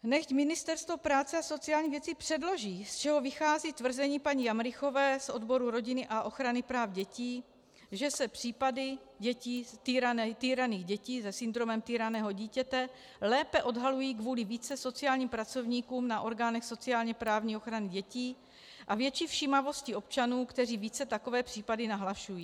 Nechť Ministerstvo práce a sociálních věcí předloží, z čeho vychází tvrzení paní Jamrichové z odboru rodiny a ochrany práv dětí, že se případy týraných dětí se syndromem týraného dítěte lépe odhalují kvůli více sociálním pracovníků na orgánech sociálně-právní ochraně dětí a větší všímavosti občanů, kteří více takové případy nahlašují.